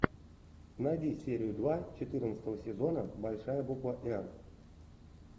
найди серию два четырнадцатого сезона большая буква р